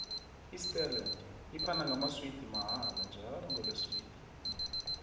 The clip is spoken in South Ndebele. isterland iphana amaswidi mahala njalo ngolesibili